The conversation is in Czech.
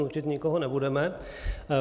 Nutit nikoho nebudeme.